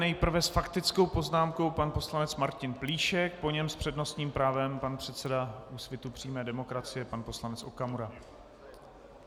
Nejprve s faktickou poznámkou pan poslanec Martin Plíšek, po něm s přednostním právem pan předseda Úsvitu přímé demokracie pan poslanec Okamura.